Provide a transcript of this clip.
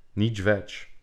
Nič več.